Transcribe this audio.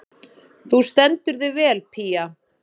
Þú stendur þig vel, Pía!